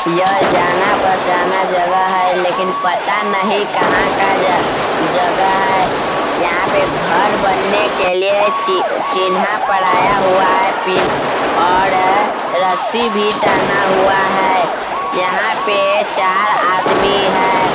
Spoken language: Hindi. यह जाना पहचाना जगह है लेकिन पता नहीं कहाँ का ज जगह है यहाँ पे घर बनने के लिए चि चिन्हा पड़ाया हुआ है पिल और रस्सी भी टाना हुआ है यहाँ पे चार आदमी है।